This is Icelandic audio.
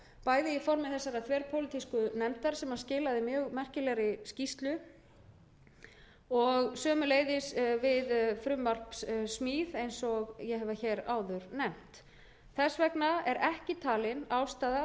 bæði í formi þessarar þverpólitísku nefndar sem skilaði mjög merkilegri skýrslu og sömuleiðis við frumvarpssmíð eins og ég hef hér áður nefnt þess vegna er ekki talin ástæða